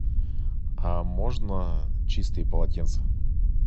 можно чистые полотенца